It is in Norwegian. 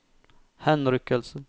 henrykkelse